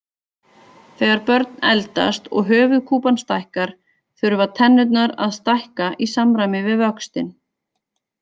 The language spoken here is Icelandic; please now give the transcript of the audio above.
Þegar börn eldast og höfuðkúpan stækkar þurfa tennurnar að stækka í samræmi við vöxtinn.